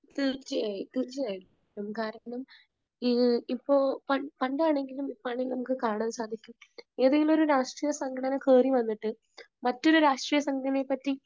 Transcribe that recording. തീർച്ചയായും തീർച്ചയായും. കാരണം, ഈ ഇപ്പോ പണ്ട് ആണെങ്കിലും ഇപ്പോൾ ആണെങ്കിലും നമുക്ക് കാണാൻ സാധിക്കും ഏതെങ്കിലും ഒരു രാഷ്ട്രീയ സംഘടന കേറി വന്നിട്ട് മറ്റൊരു രാഷ്ട്രീയ സംഘടനയെപ്പറ്റി